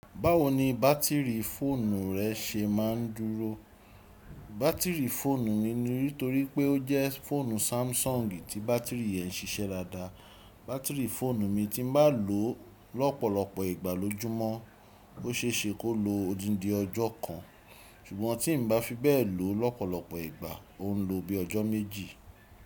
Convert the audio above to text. Báwo ni bátìrì fóònù rẹ ṣe máa ń dúró? Bátìrì fóònù mi ni, nítorí pé ó jẹ́ fóònù samsung tí bátìrì yẹn ń ṣiṣẹ́ dáadáa. Bátìrì fóònù mi tí mo bá lò ó lọ́pọ̀lọpọ̀ ìgbà lójúmọ́ ó ṣe é ṣe kó lo odindin ọjọ́ kan ṣùgbọ́n tí n bá fi bẹ́ẹ̀ lò ó lọ́pọ̀lọpọ̀ ìgbà, ó ń lo bíi ọjọ́ méjì.